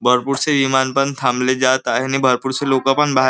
भरपूर से विमान पण थांबले जात आहे आणि भरपूर से लोकं पण बाहेर --